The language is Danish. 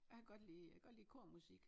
Jeg kan godt lide jeg kan godt lide kormusik